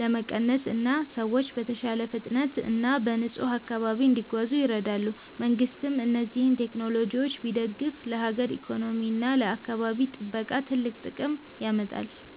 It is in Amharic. ለመቀነስ እና ሰዎች በተሻለ ፍጥነት እና በንጹህ አካባቢ እንዲጓዙ ይረዳሉ። መንግሥትም እነዚህን ቴክኖሎጂዎች ቢደግፍ ለሀገር ኢኮኖሚ እና ለአካባቢ ጥበቃ ትልቅ ጥቅም ያመጣል።